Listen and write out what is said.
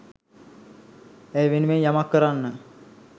ඇය වෙනුවෙන් යමක් කරන්න